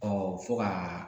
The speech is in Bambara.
Ɔ fo ka